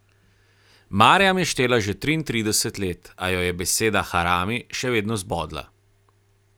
Marjam je štela že triintrideset let, a jo je beseda harami še vedno zbodla.